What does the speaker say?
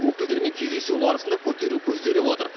өкілдерімен кездесу барысында көтеру көзделіп отыр